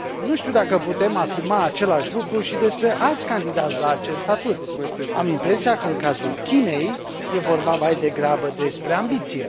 Nu știu dacă putem afirma același lucru și despre alți candidați la acest statut. Am impresia că, în cazul Chinei, este vorba mai degrabă despre ambiție.